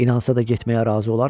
İnansa da getməyə razı olarmı?